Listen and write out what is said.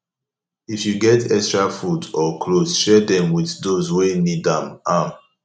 if yu get extra food or clothes share dem with dose wey nid am am